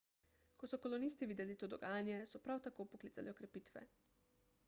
ko so kolonisti videli to dogajanje so prav tako poklicali okrepitve